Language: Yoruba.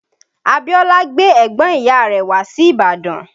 Abíọ́lá gbé ẹ̀gbọ́n ìyá rẹ̀ wá sí Ìbàdàn